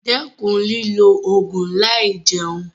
Dẹ́kun lílo ògùn láì jẹun.